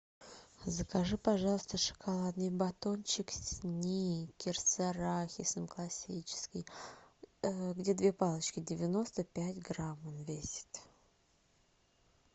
закажи пожалуйста шоколадный батончик сникерс с арахисом классический где две палочки девяносто пять грамм он весит